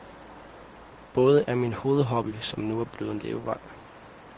Både er min hovedhobby, som nu er blevet en levevej.